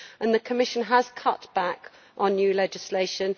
The Commission has cut back on new legislation